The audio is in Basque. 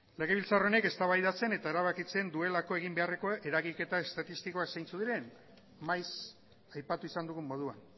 legebiltzar honek eztabaidatzen eta erabakitzen duelako eginbeharreko eragiketa estatistikoa zeintzuk diren maiz aipatu izan dugun moduan